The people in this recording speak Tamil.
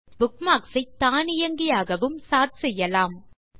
நீங்கள் புக்மார்க்ஸ் ஐ தானியங்கியாகவும் சோர்ட் செய்யலாம்